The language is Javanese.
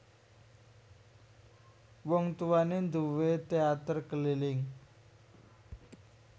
Wong tuwané nduwé téater keliling